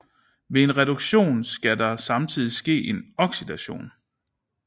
Ved en reduktion skal der samtidigt ske en oxidation